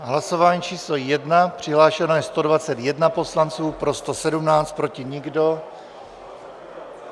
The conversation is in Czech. Hlasování číslo 1, přihlášeno je 121 poslanců, pro 117, proti nikdo.